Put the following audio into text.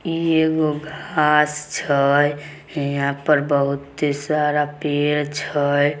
इ एगो घास छे हिया पर बहुते सारा पेड़ छे।